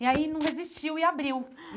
E aí não resistiu e abriu.